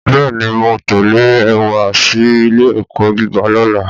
Bẹ́ẹ̀ ni, mò ń tẹ̀lé ẹ wá sí ilé-ẹ̀kọ́ gíga lọ́la